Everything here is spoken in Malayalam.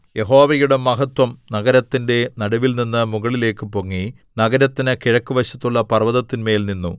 യഹോവയുടെ മഹത്വം നഗരത്തിന്റെ നടുവിൽനിന്ന് മുകളിലേക്ക് പൊങ്ങി നഗരത്തിന് കിഴക്കുവശത്തുള്ള പർവ്വതത്തിന്മേൽ നിന്നു